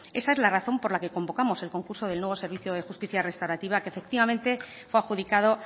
esa es la razón por la que convocamos el concurso del nuevo servicio de justicia restaurativa que efectivamente fue adjudicado